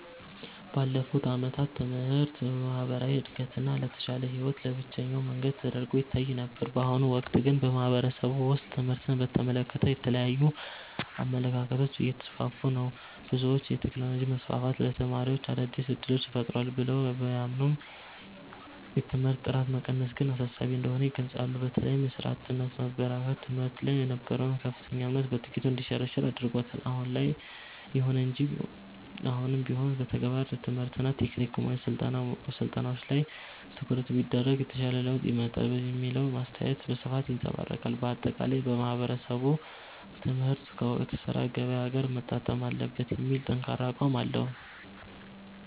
ባለፉት ዓመታት ትምህርት ለማህበራዊ እድገትና ለተሻለ ህይወት ብቸኛው መንገድ ተደርጎ ይታይ ነበር። በአሁኑ ወቅት ግን በማህበረሰቡ ውስጥ ትምህርትን በተመለከተ የተለያዩ አመለካከቶች እየተስፋፉ ነው። ብዙዎች የቴክኖሎጂ መስፋፋት ለተማሪዎች አዳዲስ እድሎችን ፈጥሯል ብለው ቢያምኑም፣ የትምህርት ጥራት መቀነስ ግን አሳሳቢ እንደሆነ ይገልጻሉ። በተለይም የሥራ አጥነት መበራከት በትምህርት ላይ የነበረውን ከፍተኛ እምነት በጥቂቱ እንዲሸረሸር አድርጎታል። ይሁን እንጂ አሁንም ቢሆን የተግባር ትምህርትና የቴክኒክ ስልጠናዎች ላይ ትኩረት ቢደረግ የተሻለ ለውጥ ይመጣል የሚለው አስተያየት በስፋት ይንፀባረቃል። ባጠቃላይ ማህበረሰቡ ትምህርት ከወቅቱ የሥራ ገበያ ጋር መጣጣም አለበት የሚል ጠንካራ አቋም አለው።